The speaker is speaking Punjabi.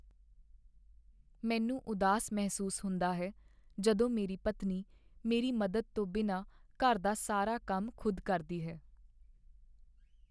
ਮੈਨੂੰ ਉਦਾਸ ਮਹਿਸੂਸ ਹੁੰਦਾ ਹੈ ਜਦੋਂ ਮੇਰੀ ਪਤਨੀ ਮੇਰੀ ਮਦਦ ਤੋਂ ਬਿਨਾਂ ਘਰ ਦਾ ਸਾਰਾ ਕੰਮ ਖੁਦ ਕਰਦੀ ਹੈ।